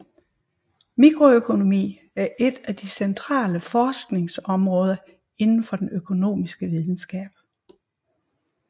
Mikroøkonomi er et af de centrale forskningsområder inden for den økonomiske videnskab